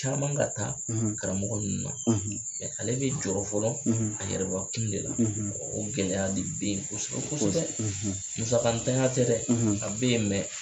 Caman ka taa karamɔgɔ ninnu na ale bi jɔyɔrɔ fɔlɔ a yɛrɛbakun ne la o gɛlɛya de be yen kosɛbɛ kosɛbɛ musakatanya tɛ dɛ a be yen